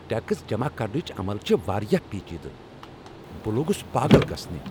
Tax جمع کرنٕچ عمل چِھ واریاہ پیچیدٕ، بہٕ لوگُس پاغل گژھنِہ۔